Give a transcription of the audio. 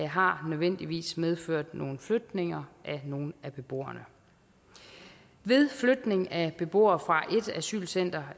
har nødvendigvis medført nogle flytninger af nogle af beboerne ved flytning af beboere fra et asylcenter